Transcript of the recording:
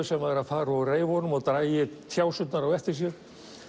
sem væri að fara úr reyfunum og drægi á eftir sér